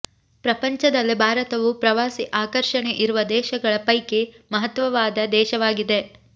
ಪ್ರಪಂಚದಲ್ಲೆ ಭಾರತವು ಪ್ರವಾಸಿ ಆಕರ್ಷಣೆ ಇರುವ ದೇಶಗಳ ಪೈಕಿ ಮಹತ್ವವಾದ ದೇಶವಾಗಿದೆ